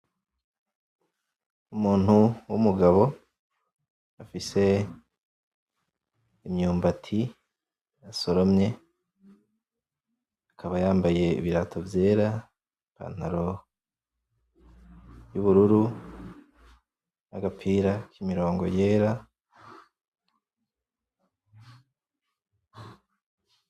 Umuntu w’umugabo afise imyumbati yasoromye, akaba yambaye ibirato vyera, ipantaro yubururu, nagapira kimirongo yera.